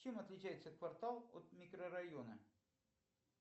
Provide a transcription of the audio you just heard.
чем отличается квартал от микрорайона